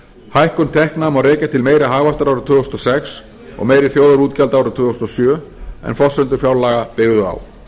hækkun tekna má rekja til meiri hagvaxtar árið tvö þúsund og sex og meiri þjóðarútgjalda árið tvö þúsund og sjö en forsendur fjárlaga byggðu á